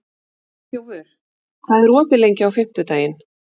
Geirþjófur, hvað er opið lengi á fimmtudaginn?